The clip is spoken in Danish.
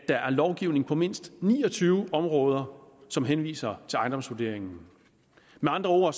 lovgivning på mindst ni og tyve områder som henviser til ejendomsvurderingerne med andre ord